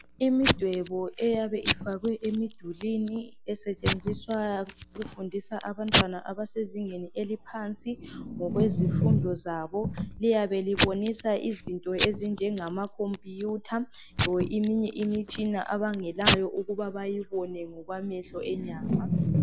Imidwebo eyabe ifakwe emidulini, esetshenziswa ukufundisa abantwana abasezingeni eliphansi ngokwezifundo zabo, liyabe libonisa izinto ezinjengamakhompuyutha kumbe eminye imitshina abangelayo ukuba bayibone ngokwamehlo enyama.